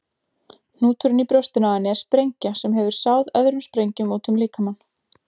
Hnúturinn í brjóstinu á henni er sprengja sem hefur sáð öðrum sprengjum útum líkamann.